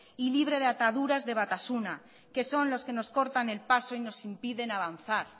y libre de ataduras de batasuna que son los que nos cortan el paso y nos impiden avanzar